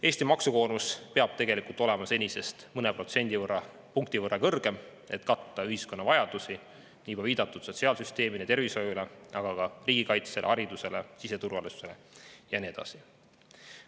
Eesti maksukoormus peab olema senisest mõne protsendipunkti võrra kõrgem, et katta ühiskonna vajadusi, nagu juba viidatud, sotsiaalsüsteemile ja tervishoiule, aga ka riigikaitsele, haridusele, siseturvalisusele ja nii edasi.